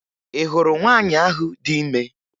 Ị hụrụ nwaanyị ahụ dị ime?